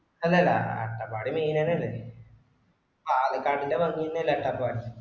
അല്ലടാ അട്ടപ്പാടി main അന്നേ ആണ് കാട്ടിന്റെ ബാംഗി തന്നെ ആണ് അട്ടപ്പാടി